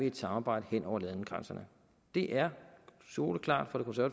et samarbejde hen over landegrænserne det er soleklart